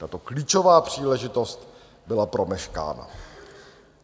Tato klíčová příležitost byla promeškána.